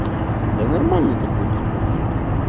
да нормальный такой тип вообще